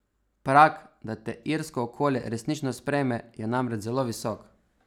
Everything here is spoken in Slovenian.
Prag, da te irsko okolje resnično sprejme, je namreč zelo visok.